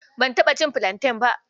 Ban taɓa cin filanten ba.